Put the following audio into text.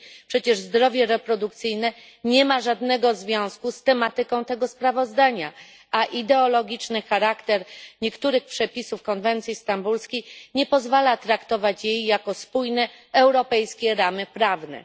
Przecież zdrowie reprodukcyjne nie ma żadnego związku z tematyką tego sprawozdania, a ideologiczny charakter niektórych przepisów konwencji stambulskiej nie pozwala traktować jej jako spójnych, europejskich ram prawnych.